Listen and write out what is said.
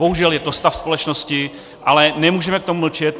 Bohužel je to stav společnosti, ale nemůžeme k tomu mlčet.